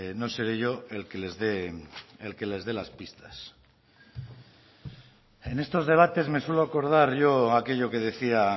no seré yo el que les dé las pistas en estos debates me suelo acordar yo aquello que decía